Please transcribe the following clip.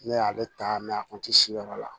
Ne y'ale ta a kun tɛ si yɔrɔ la